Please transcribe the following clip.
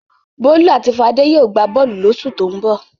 Bólú àti Fadé yóò gbá bọ́ọ́lù lóṣù tó ń bọ̀.